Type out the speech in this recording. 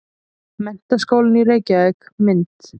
Menntaskólinn í Reykjavík- mynd.